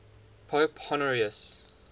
pope honorius